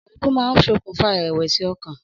Ọ̀rọ̀ èébú máa ń ṣokùnfà ìrẹ̀wẹ̀sì ọkàn.